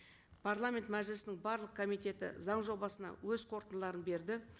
парламент мәжілісінің барлық комитеті заң жобасына өз қорытындыларын берді